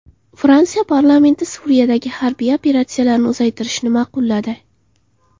Fransiya parlamenti Suriyadagi harbiy operatsiyalarni uzaytirishni ma’qulladi.